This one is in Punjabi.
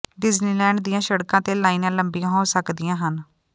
ਡਿਜ਼ਨੀਲੈਂਡ ਦੀਆਂ ਸੜਕਾਂ ਤੇ ਲਾਈਨਾਂ ਲੰਬੀਆਂ ਹੋ ਸਕਦੀਆਂ ਹਨ